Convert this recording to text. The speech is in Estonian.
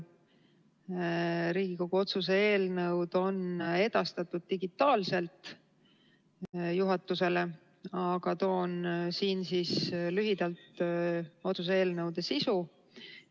Mõlemad Riigikogu otsuse eelnõud on edastatud digitaalselt juhatusele, aga tutvustan siin lühidalt nende sisu.